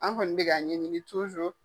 An kɔni bɛ ka ɲɛɲini .